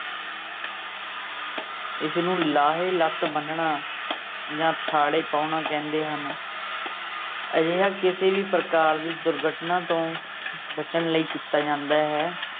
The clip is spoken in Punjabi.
ਇਸਨੂੰ ਲਾਹੇ ਲੱਤ ਬੰਨਣਾ ਜਾਂ ਥਾੜੇ ਪਾਉਣਾ ਕਹਿੰਦੇ ਹਨ ਅਜਿਹਾ ਕਿਸੇ ਵੀ ਪ੍ਰਕਾਰ ਦੀ ਦੁਰਘਟਨਾ ਤੋਂ ਬੱਚਣ ਲਈ ਕੀਤਾ ਜਾਂਦਾ ਹੈ।